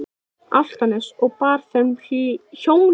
Álftanes og bar þeim hjónum vel söguna.